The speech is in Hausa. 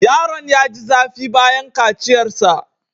Yaron ya ji zafi bayan kaciyarsa.